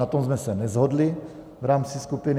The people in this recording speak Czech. Na tom jsme se neshodli v rámci skupiny.